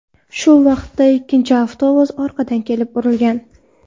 Shu vaqtda ikkinchi avtobus orqadan kelib urilgan.